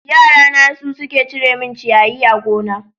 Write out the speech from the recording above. Yara na su suke cire min ciyayi a gona.